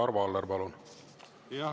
Arvo Aller, palun!